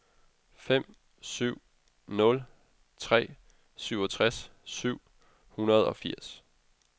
fem syv nul tre syvogtres syv hundrede og firs